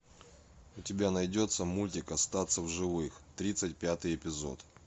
у тебя найдется мультик остаться в живых тридцать пятый эпизод